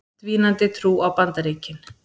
Dvínandi trú á Bandaríkin